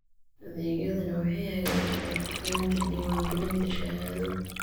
Adeegyadani waxay hagaajiyaan hufnaanta diiwaangelinta shahaado.